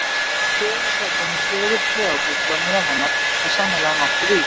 Sögusögnin um fegurð Kleópötru og nef hennar, er sennilega nokkuð ýkt.